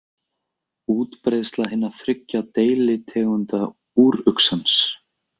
Útbreiðsla hinna þriggja deilitegunda úruxans.